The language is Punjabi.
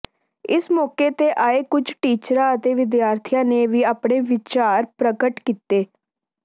ਇਸ ਮੌਕੇ ਤੇ ਆਏ ਕੁੱਝ ਟੀਚਰਾਂ ਅਤੇ ਵਿਦਿਆਰਥੀਆਂ ਨੇ ਵੀ ਆਪਣੇ ਵਿਚਾਰ ਪ੍ਰਗਟ ਕੀਤੇ